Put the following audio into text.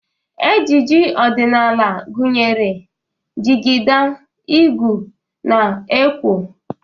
Ejiji odịnaala gụnyere jịgịda, ịgụ, na ekwo.